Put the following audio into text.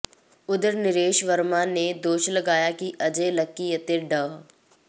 ਉੱਧਰ ਨਰੇਸ਼ ਵਰਮਾ ਨੇ ਦੋਸ਼ ਲਗਾਇਆ ਕਿ ਅਜੈ ਲੱਕੀ ਅਤੇ ਡਾ